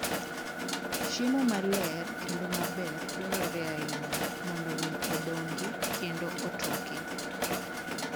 Chiemo maler kendo maber dwarore ahinya mondo winy odongi kendo otoki.